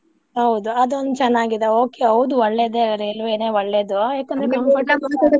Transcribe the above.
ಹೌದು ಅದೊಂದ್ ಚನ್ನಾಗಿದೆ okay ಹೌದು ಒಳ್ಳೇದೇ ರೇಲ್ವೆನೆ ಒಳ್ಳೇದು. ಯಾಕಂದ್ರೆ .